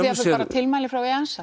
tilmæli frá